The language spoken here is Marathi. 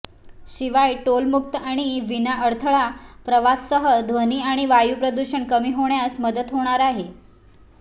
शिवाय टोलमुक्त आणि विनाअडथळा प्रवासासह ध्वनी आणि वायुप्रदूषण कमी होण्यास मदत होणार आहे